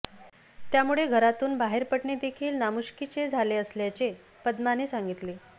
त्यामुळे घरातून बाहेर पडणेदेखील नामुष्कीचे झाले असल्याचे पद्माने सांगितले